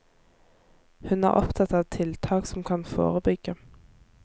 Hun er opptatt av tiltak som kan forebygge.